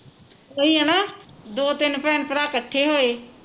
ਓਹੀ ਹੈ ਨਾ ਦੋ ਤਿੰਨ ਭੈਣ ਭਰਾ ਕੱਠੇ ਹੋਏ